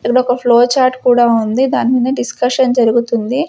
ఇదొక flow chart కూడా ఉంది దాని మీద డిస్కషన్ జరుగుతుంది.